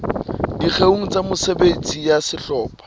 dikgeong tsa mesebetsi ya sehlopha